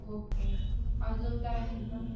Okay अजून काय म्हणता.